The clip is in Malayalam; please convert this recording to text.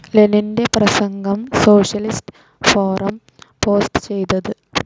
ലെനിൻ്റെ പ്രസംഗം സോഷ്യലിസ്റ്റ്‌ ഫോറം പോസ്റ്റ്‌ ചെയ്തത്